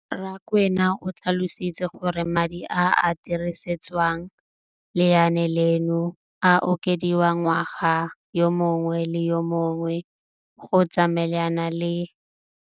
Rakwena o tlhalositse gore madi a a dirisediwang lenaane leno a okediwa ngwaga yo mongwe le yo mongwe go tsamaelana le